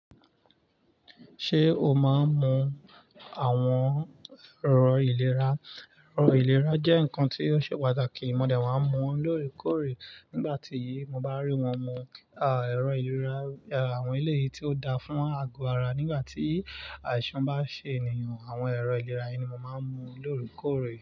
Ṣé o máa ń lo àwọn ẹ̀rọ ìlera? Ẹ̀rọ ìlera jẹ́ nǹkan tí ó ṣe pàtàkì. Mo dẹ̀ wá ń mu lóòrèkóòrè. Nígbà tí mo bá rí wọ́n mu, à, ẹ̀rọ ìlera, à, àwọn eleyìí tí ó dáa fún ago ara. Nígbà tí àìsàn bá ṣe ènìyàn, àwọn ẹ̀rọ ìlera yìí ni mo máa ń mu lóòrèkóòrè.